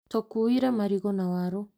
Tũkuĩrĩĩ marigu na waru